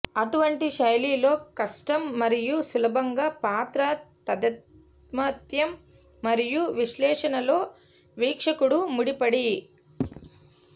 అటువంటి శైలిలో కష్టం మరియు సులభంగా పాత్ర తాదాత్మ్యం మరియు విశ్లేషణలో వీక్షకుడు ముడిపడి